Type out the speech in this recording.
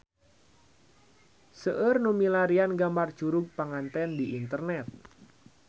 Seueur nu milarian gambar Curug Panganten di internet